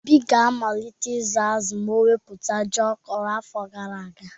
Obi ga-amalite ịzụ azụ ma ọ wepụta ji ọ kọrọ afọ gara aga.